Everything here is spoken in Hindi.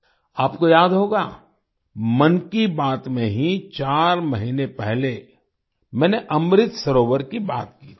आपको याद होगा मन की बात में ही चार महीने पहले मैंने अमृत सरोवर की बात की थी